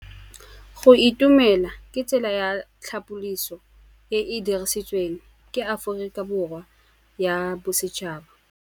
Go itumela ke tsela ya tlhapolisô e e dirisitsweng ke Aforika Borwa ya Bosetšhaba.